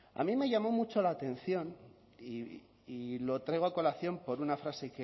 a mí me llamó mucho la atención y lo traigo a colación por una frase